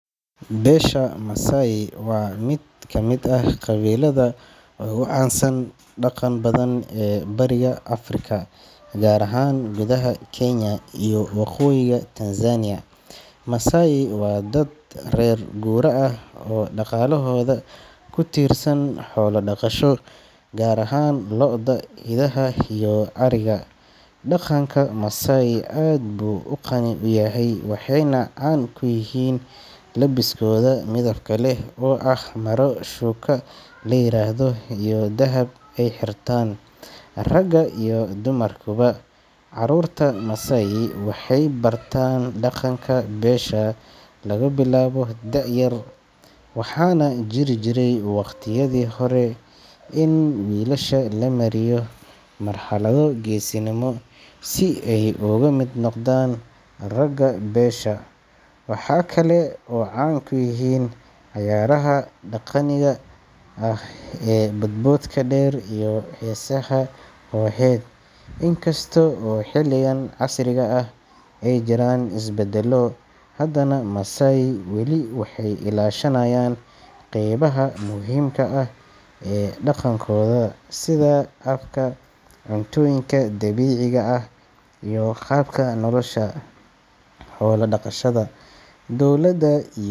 Beesha Masai waa mid ka mid ah qabiilada ugu caansan uguna dhaqan badan ee Bariga Afrika, gaar ahaan gudaha Kenya iyo waqooyiga Tanzania. Masai waa dad reer guuraa ah oo dhaqaalahooda ku tiirsan xoolo dhaqasho, gaar ahaan lo’da, idaha iyo ariga. Dhaqanka Masai aad buu u qani ah, waxayna caan ku yihiin labiskooda midabka leh oo ah maro shuka la yiraahdo iyo dahab ay xirtaan ragga iyo dumarkuba. Caruurta Masai waxay bartaan dhaqanka beesha laga bilaabo da’ yar, waxaana jiri jiray waqtiyadii hore in wiilasha la mariyo marxalado geesinimo si ay uga mid noqdaan ragga beesha. Waxaa kale oo Masai caan ku yihiin cayaaraha dhaqaniga ah ee boodboodka dheer iyo heesaha kooxeed. Inkasta oo xilligan casriga ah ay jiraan isbeddelo, haddana Masai weli waxay ilaashanayaan qaybaha muhiimka ah ee dhaqankooda sida afka, cuntooyinka dabiiciga ah iyo qaabka nolosha xoolo dhaqashada. Dowladda iyo.